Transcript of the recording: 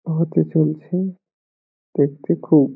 হতে চলছে খুব --